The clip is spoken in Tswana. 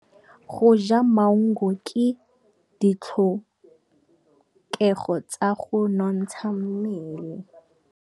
Go ja maungo ke ditlhokegô tsa go nontsha mmele.